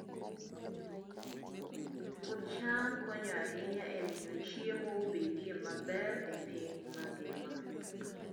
Puoth cham konyo ahinya e miyo chiemo obedie maber e piny mangima.